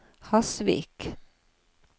Hasvik